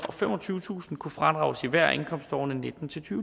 og femogtyvetusind kroner kunne fradrages i hvert af indkomstårene og nitten til